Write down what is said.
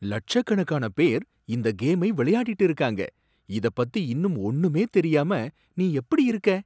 லட்சக்கணக்கான பேர் இந்த கேமை விளையாடிட்டு இருக்காங்க. இதப்பத்தி இன்னும் ஒன்னுமே தெரியாம, நீ எப்புடி இருக்க?